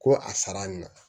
Ko a sara nin na